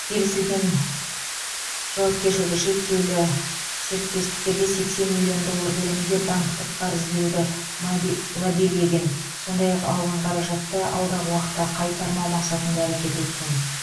келісілген жауакершілігі шектеулі серіктестіктерге сексен миллион доллар көлемінде банктік қарыз беруді лоббилеген сондай ақ алған қаражатты алдағы уақытта қайтармау мақсатында әрекет еткен